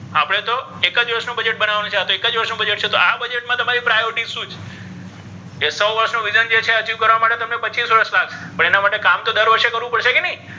આપ્ણે તો એક વર્ષ નુ બજેટ બનાવવાનુ આ તો એક જ વર્ષ નુ બજેટ છે આ બજેટ મા priority શુ છે achieve કરવા માટે પચીસ વર્ષ લાગ્શે પણ તેના માટે કામ તો દર વર્ષે કર્વુ પડ્શે ક નહિ.